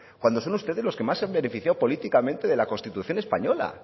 cuando son ustedes los que más se han beneficiado políticamente de la constitución española